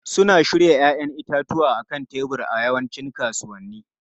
Suna shirya 'ya'yan itatuwa a kan tebur a yawancin kasuwanni.